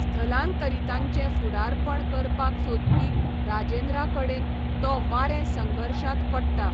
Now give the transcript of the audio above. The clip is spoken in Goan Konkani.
स्थलांतरीतांचें फुडारपण करपाक सोदपी राजेंद्रा कडेन तो वारें संघर्शांत पडटा.